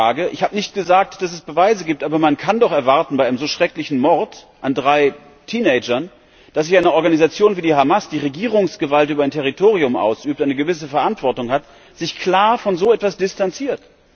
Danke für die Frage. Ich habe nicht gesagt, dass es Beweise gibt. Aber man kann doch bei einem so schrecklichen Mord an drei Teenagern erwarten, dass sich eine Organisation wie die Hamas, die Regierungsgewalt über ein Territorium ausübt, die eine gewisse Verantwortung hat, klar von so etwas distanziert.